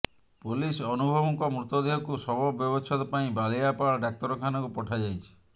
police ଅନୁଭବଙ୍କ ମୃତଦେହକୁ ଶବ ବ୍ୟବଚ୍ଛେଦ ପାଇଁ ବାଲିଆପାଳ ଡାକ୍ତରଖାନାକୁ ପଠାଯାଇଛି